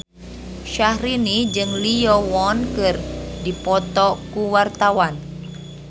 Syahrini jeung Lee Yo Won keur dipoto ku wartawan